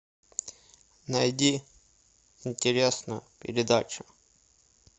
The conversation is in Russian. найди интересную передачу